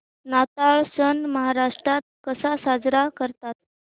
नाताळ सण महाराष्ट्रात कसा साजरा करतात